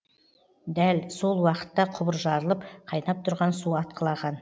дәл сол уақытта құбыр жарылып қайнап тұрған су атқылаған